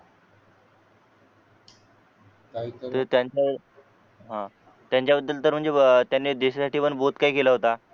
काहीतरी त्यांना हा त्यांच्याबद्दल तर त्यांनी देशासाठी पण बहुत काही केलं होतं